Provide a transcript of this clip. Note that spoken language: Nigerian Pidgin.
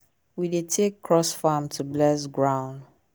we dey take cross farm to bless ground.